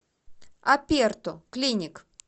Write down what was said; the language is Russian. аперто клиник